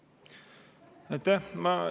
Aitäh!